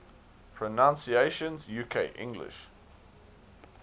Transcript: pronunciations uk english